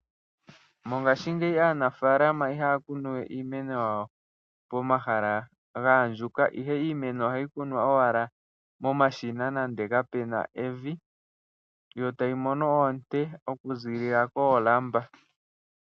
Mongaashingeyi aanafaalama ihaya kunu we iimeno yayo pomahala gaandjuka ihe ohaya kunu momashina nenge kapena evi yotayi mono oonte okuziilila koolamba.